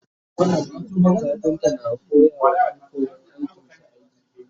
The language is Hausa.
kafinta na koyawa Ƴan. koyan aikin shi aiki